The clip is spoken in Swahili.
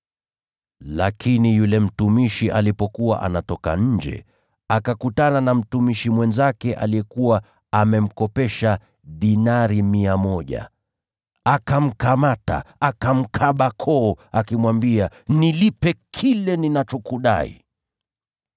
“Lakini yule mtumishi alipokuwa anatoka nje, akakutana na mtumishi mwenzake aliyekuwa amemkopesha dinari mia moja. Akamkamata, akamkaba koo akimwambia, ‘Nilipe kile ninachokudai!’